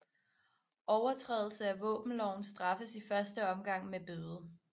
Overtrædelse af våbenloven straffes i første omgang med bøde